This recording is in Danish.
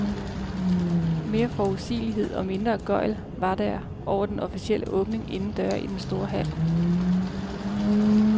Mere forudsigelighed og mindre gøgl var der over den officielle åbning inden døre i den store hal.